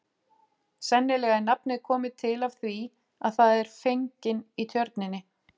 Sennilega er nafnið komið til af því að það er fergin í tjörninni.